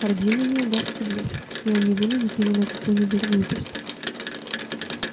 хардину не удастся блеф и он не вынудит его на какую-нибудь глупость